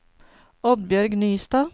Oddbjørg Nystad